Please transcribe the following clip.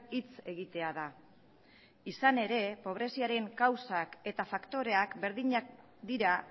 hitz egitea da izan ere pobreziaren kausak eta faktoreak berdinak dira